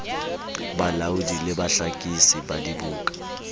balaodi le bahlakisi ba dibuka